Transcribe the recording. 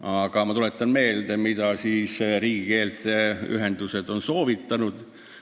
Aga ma tuletan meelde, mida riigikeelte ühendused on soovitanud.